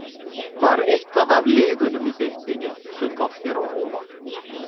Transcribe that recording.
Var eitthvað af liðunum í deildinni sem kom þér á óvart?